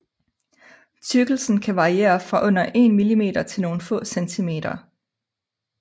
Tykkelsen kan variere fra under en mm til nogle få cm